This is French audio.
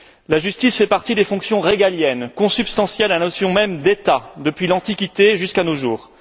La justice fait partie des fonctions régaliennes, consubstantielles de la notion même d'État, depuis l'Antiquité jusqu'à nos jours.